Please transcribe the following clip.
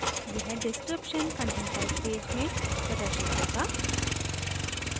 यह description content type page में प्रदर्शित होगा